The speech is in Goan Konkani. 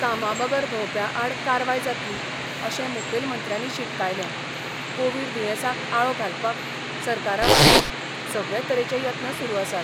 कामाबगर भोवप्याआड कारवाय जातली अशे मुखेलमंत्र्यांनी शिटकायले कोविड दुयेंसाक आळो घालपाक सरकारावतीन सगळे तरेचे यत्न सुरू आसात.